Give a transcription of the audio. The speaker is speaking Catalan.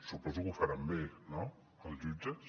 suposo que ho faran bé no els jutges